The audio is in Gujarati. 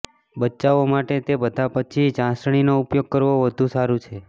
બચ્ચાઓ માટે તે બધા પછી ચાસણીનો ઉપયોગ કરવો વધુ સારું છે